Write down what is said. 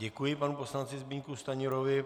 Děkuji panu poslanci Zbyňku Stanjurovi.